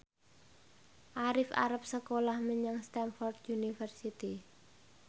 Arif arep sekolah menyang Stamford University